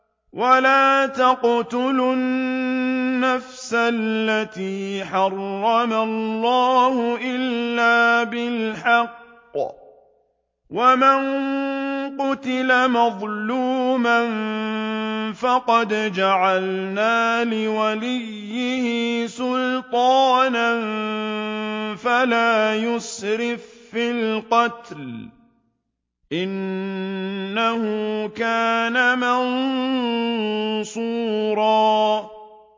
وَلَا تَقْتُلُوا النَّفْسَ الَّتِي حَرَّمَ اللَّهُ إِلَّا بِالْحَقِّ ۗ وَمَن قُتِلَ مَظْلُومًا فَقَدْ جَعَلْنَا لِوَلِيِّهِ سُلْطَانًا فَلَا يُسْرِف فِّي الْقَتْلِ ۖ إِنَّهُ كَانَ مَنصُورًا